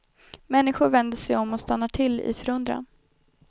Människor vänder sig om och stannar till i förundran.